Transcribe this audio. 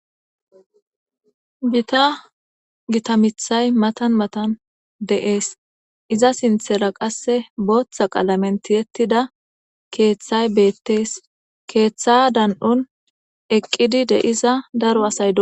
Giththa giththa miththay mathan mathan de'ss. Izza sinthera qase botha qalamen thie'thida kethay bethes. Keeththa dandhon eqidi de'da daro assayi dosonna.